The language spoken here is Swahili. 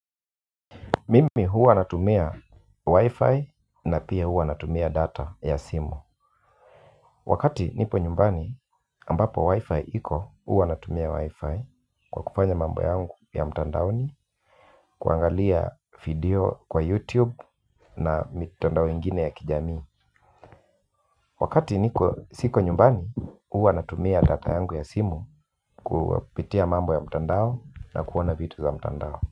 Mimi huwa natumia wifi na pia huwa natumia data ya simu. Wakati nipo nyumbani ambapo wifi iko huwa natumia wifi kwa kufanya mambo yangu ya mtandaoni. Kuangalia video kwa youtube na mitandao ingine ya kijamii. Wakati niko siko nyumbani huwa natumia data yangu ya simu kupitia mambo ya mtandao na kuona vitu za mtandao.